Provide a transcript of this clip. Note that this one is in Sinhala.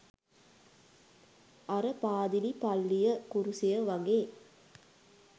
අර "පාදිලි" "පල්ලිය" "කුරුසය" වගේ?